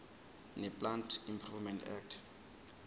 neplant improvement act